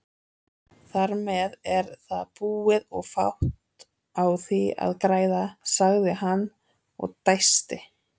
Þarmeð er það búið og fátt á því að græða, sagði hann og dæsti.